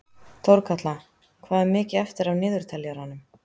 Þórkatla, hvað er mikið eftir af niðurteljaranum?